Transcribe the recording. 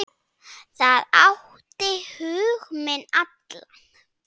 Það átti hug minn allan.